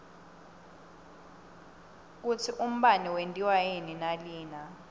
kutsi umbane wentiwa yini nalina